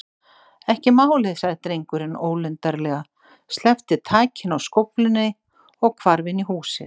Ekki málið- sagði drengurinn ólundarlega, sleppti takinu á skóflunni og hvarf inn í húsið.